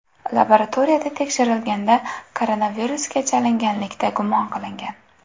Laboratoriyada tekshirilganda, koronavirusga chalinganlikda gumon qilingan.